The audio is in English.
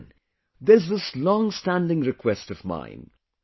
And then there is this long standing request of mine